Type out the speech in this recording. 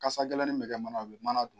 Kasa gɛlɛnin bɛ kɛ mana la, mana